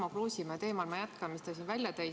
Ma jätkan teemal, mis Tarmo Kruusimäe siin välja tõi.